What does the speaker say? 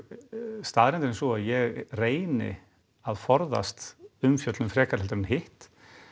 staðreyndin er sú að ég reyni að forðast umfjöllun frekar en hitt